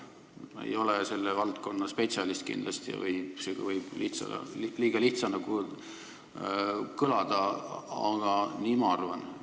Ma ei ole kindlasti selle valdkonna spetsialist – see võib liiga lihtsana kõlada –, aga nii ma arvan.